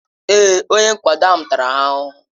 Èé, onye nkwado ahụ tara ha ahụhụ.